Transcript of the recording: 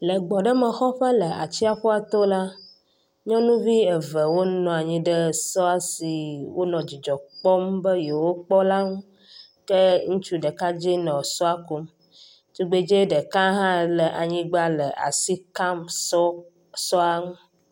Le gbɔɖemexɔƒe le atsƒua to la, nyɔnuvi eve wo nɔ anyi ɖe sɔ si wonɔ dzidzɔ kpɔm be yewo kpɔŋu ke ŋutsu ɖekadze nɔ sɔa kum. Tugbedzɛ ɖeka hã le anyigba le asi ka sɔ sɔa ŋu.